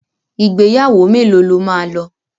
Ìgbéyàwó mélòó lo máa lọ?